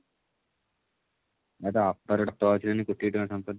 ମାନେ ତୋ ବାପା ର ଗୋଟେ auto ଅଛି ବୋଲି କୋଟିଏ ଟଙ୍କା ର ସମ୍ପତି